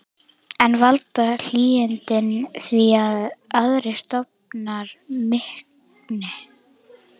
En valda hlýindin því að aðrir stofnar minnki?